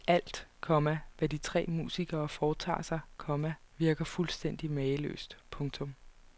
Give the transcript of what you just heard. Alt, komma hvad de tre musikere foretager sig, komma virker fuldstændig mageløst. punktum